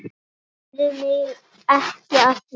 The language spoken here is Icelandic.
Spurðu mig ekki að því.